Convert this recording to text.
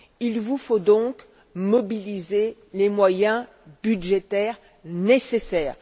Il vous faut donc mobiliser les moyens budgétaires nécessaires.